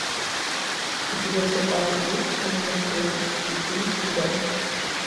у тебя в запасе есть кинематографический фильм цыган